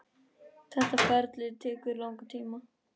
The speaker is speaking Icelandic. Þetta ferli tekur langan tíma.